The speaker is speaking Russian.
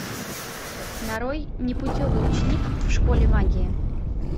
нарой непутевый ученик в школе магии